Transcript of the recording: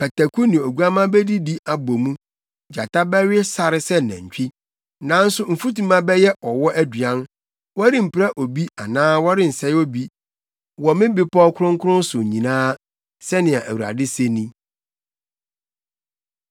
Pataku ne oguamma bedidi abɔ mu gyata bɛwe sare sɛ nantwi, nanso mfutuma bɛyɛ ɔwɔ aduan. Wɔrempira obi anaa wɔrensɛe obi wɔ me bepɔw kronkron so nyinaa,” sɛnea Awurade se ni.